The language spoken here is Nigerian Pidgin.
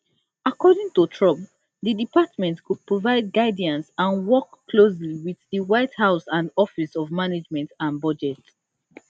according to trump di department go provide guidance and work closely wit di white house and office of management and budget